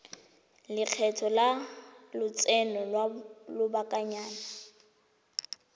lekgetho la lotseno lwa lobakanyana